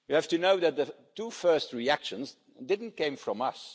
You have to know that the two first reactions didn't come from us.